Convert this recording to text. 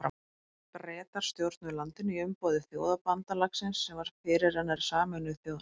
Bretar stjórnuðu landinu í umboði Þjóðabandalagsins sem var fyrirrennari Sameinuðu þjóðanna.